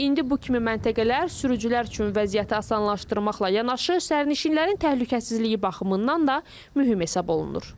İndi bu kimi məntəqələr sürücülər üçün vəziyyəti asanlaşdırmaqla yanaşı, sərnişinlərin təhlükəsizliyi baxımından da mühüm hesab olunur.